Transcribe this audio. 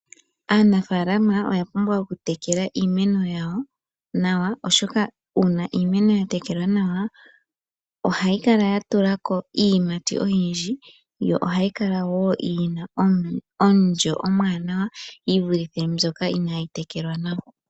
Aanafaalama oya pumbwa okutekela iimeno yawo nawa oshoka uuna iimeno ya tekelwa nawa ohayi kala ya tulako iiyimati oyindji yo ohayi kala wo yina omulyo omwaanawa yi vulithe mbyoka inaayi tekelwa nawa.